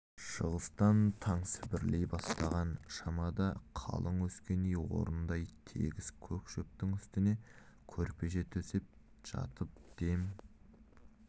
шығыстан таң сібірлей бастаған шамада қалың өскен үй орнындай тегіс көк шөптің үстіне көрпеше төсеп жатып дем